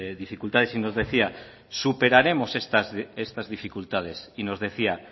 dificultades y nos decía superaremos estas dificultades y nos decía